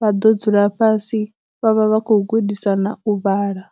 vha ḓo dzula fhasi vha vha vha khou gudisana u vhala.